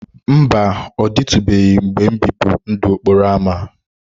Mba, ọ dịtụbeghị mgbe m bibu ndụ okporo ámá.